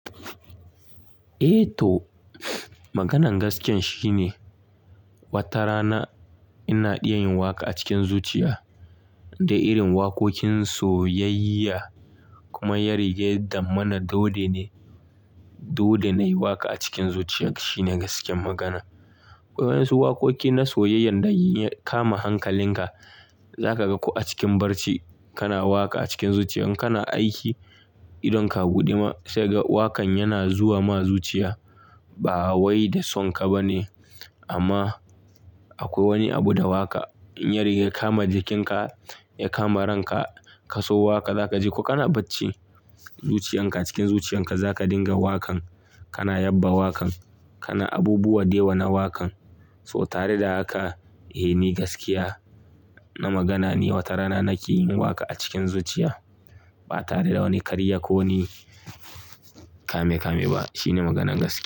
Eh to, maganan gaskiya shine wata rana ina iya yin waƙa a cikin zuciya da irin wakokin soyayya kuma ya rige zamana dole ne, dole ne yi waƙa a cikin zuciya shine gaskiyar magana. Akwai wasu wakoki na soyayya da ya kama hankalinka, za ka ga ku a cikin barci kana waƙa a cikin zuciyan kana aiki idan ka buɗe ma sai ga waƙan yana zuwa ma zuciya ba wai da son ka ba ne. Amma akwai wani abu da waƙa ya riga ya kama jikinka, ya kama ranka ka so waƙa za ka ji ko kana bacci zuciyan ka cikin zuciyan ka za ka dinga waƙan kana yaba waƙan kana abubuwa dewa na waƙan. So tare da haka eh ni gaskiya na magana ne wata rana nake yin waƙa a cikin zuciya ba tare da wani ƙarya ko kame-kame ba shine maganan gaskiya.